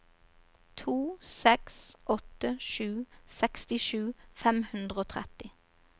to seks åtte sju sekstisju fem hundre og tretti